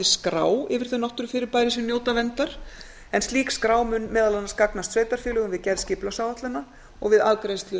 skrá yfir þau náttúrufyrirbæri sem njóta verndar en slík skrá mun meðal annars gagnast sveitarfélögum við gerð skipulagsáætlana og við afgreiðslu